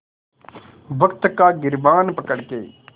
वक़्त का गिरबान पकड़ के